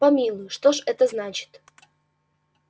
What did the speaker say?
помилуй что ж это значит